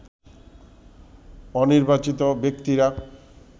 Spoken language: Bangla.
অনির্বাচিত ব্যক্তিরা